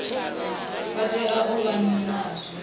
vha tea u vha nazwo